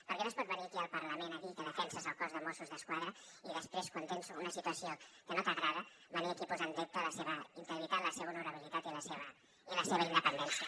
perquè no es pot venir aquí al parlament a dir que defenses el cos de mossos d’esquadra i després quan tens una situació que no t’agrada venir aquí a posar en dubte la seva integritat la seva honorabilitat i la seva independència